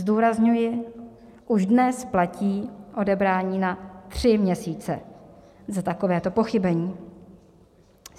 Zdůrazňuji, už dnes platí odebrání na tři měsíce za takovéto pochybení.